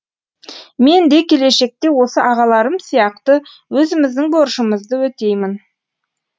мен де келешекте осы ағаларым сияқты өзіміздің борышымызды өтеймін